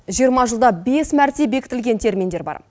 жиырма жылда бес мәрте бекітілген терминдер бар